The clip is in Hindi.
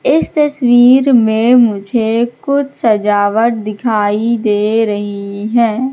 इस तस्वीर में मुझे कुछ सजावट दिखाई दे रही है।